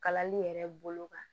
Kalali yɛrɛ bolo kan